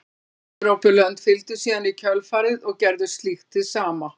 Önnur Evrópulönd fylgdu síðan í kjölfarið og gerðu slíkt hið sama.